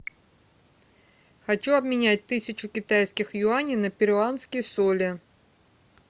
хочу обменять тысячу китайских юаней на перуанские соли